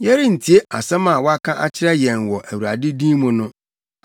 “Yɛrentie asɛm a waka akyerɛ yɛn wɔ Awurade din mu no!